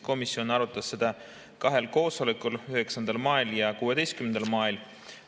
Komisjon arutas seda kahel koosolekul, 9. mail ja 16. mail.